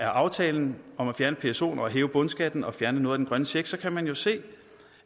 aftalen om at fjerne psoen og hæve bundskatten og fjerne noget af den grønne check kan man jo se